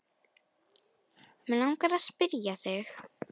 Mig langar að spyrja þig.